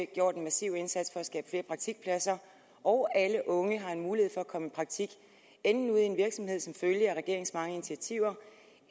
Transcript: gjort en massiv indsats for at skabe flere praktikpladser og alle unge har en mulighed for at komme i praktik enten ude i en virksomhed som følge af regeringens mange initiativer